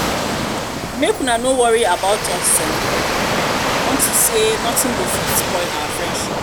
make una no worry about um us unto say nothing go um fit spoil our relationship um